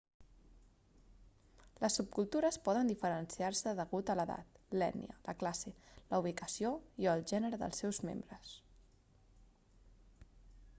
les subcultures poden diferenciar-se degut a l'edat l'ètnia la classe la ubicació i/o el gènere dels seus membres